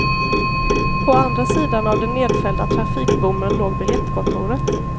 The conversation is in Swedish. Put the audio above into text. På andra sidan av den nedfällda trafikbommen låg biljettkontoret.